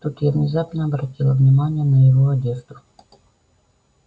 тут я внезапно обратила внимание на его одежду